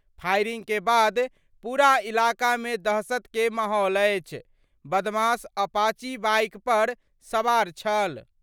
Firing के बाद पूरा इलाका मे दहशत के माहौल अछि. बदमाश अपाचे बाइक पर सवार छल।